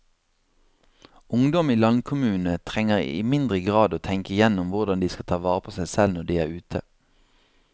Ungdom i landkommunene trenger i mindre grad å tenke igjennom hvordan de skal ta vare på seg selv når de er ute.